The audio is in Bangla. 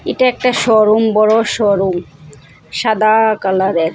এটা একটা শোরুম বড় শোরুম সাদা কালারের।